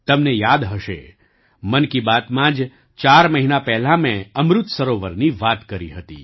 તમને યાદ હશે મન કી બાતમાં જ ચાર મહિના પહેલાં મેં અમૃત સરોવરની વાત કરી હતી